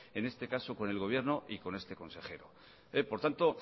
en este caso con el gobierno y con este consejero por tanto